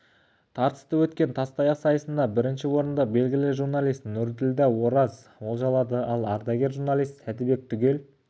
тартысты өткен тастаяқ сайысында бірінші орынды белгілі журналист нұрділда ораз олжалады ал ардагер журналист сәдібек түгел